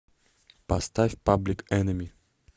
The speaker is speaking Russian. поставь паблик энеми